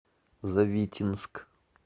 завитинск